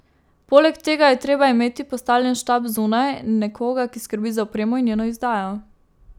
Poleg tega je treba imeti postavljen štab zunaj, nekoga, ki skrbi za opremo in njeno izdajo.